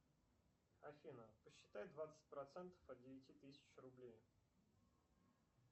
афина посчитай двадцать процентов от девяти тысяч рублей